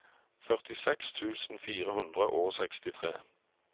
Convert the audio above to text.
førtiseks tusen fire hundre og sekstitre